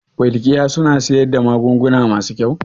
Welkiya suna siyar da magunguna masu kyau?